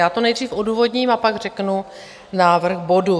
Já to nejdřív odůvodním a pak řeknu návrh bodu.